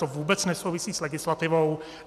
To vůbec nesouvisí s legislativou.